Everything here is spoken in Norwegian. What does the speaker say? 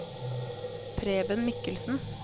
Preben Mikkelsen